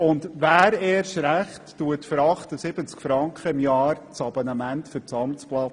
Und erst recht: Wer löst für 78 Franken im Jahr ein Abonnement für das Amtsblatt?